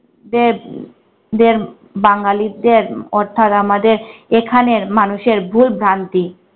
দের দের বাঙ্গালীদের অর্থাৎ আমাদের এখানের মানুষের ভুলভ্রান্তি।